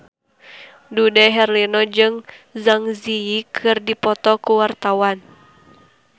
Dude Herlino jeung Zang Zi Yi keur dipoto ku wartawan